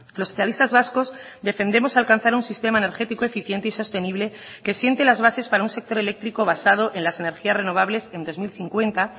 los socialistas vascos defendemos alcanzar un sistema energético eficiente y sostenible que siente las bases para un sector eléctrico basado en las energías renovables en dos mil cincuenta